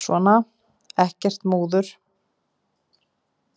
Svona, ekkert múður.